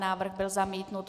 Návrh byl zamítnut.